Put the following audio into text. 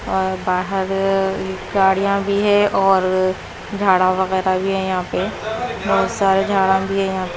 बाहर गाड़ियां भी है और झाड़ा वगैरह भी है यहां पे बहुत सारे झाड़ा भी है यहां पे--